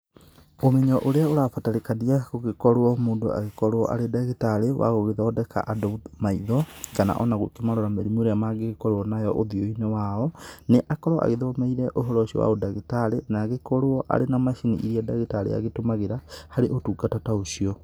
Ũmenyo ũrĩa ũrabatarĩkania gũgĩkorwo mũndũ agĩkorwo arĩ ndagĩtarĩ wa gũgĩthondeka andũ maitho, kana ona gũkĩmarora mĩrimũ ĩrĩa mũndũ mangĩgĩkorwo nayo ũthiũ-inĩ wao, nĩ akorwo agĩthomeire ũhoro ũcio wa ũndagĩtarĩ na agĩkorwo arĩ na macini iria ndagĩtarĩ agĩtũmagĩra harĩ ũtungata ta ũcio.